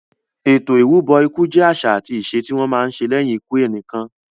Ètò ìrúbọ ikú jẹ àṣà àti ìṣe tí wọ́n má ń ṣe lẹ́yìn ikú ẹnìkan.